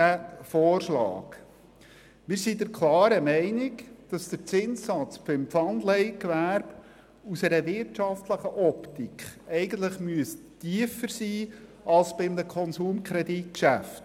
Weshalb dieser Vorschlag? – Wir sind der Meinung, dass der Zinssatz für Pfandleihen aus einer wirtschaftlichen Optik eigentlich tiefer sein müsste als bei einem Konsumkredit.